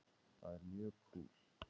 Það er mjög kúl.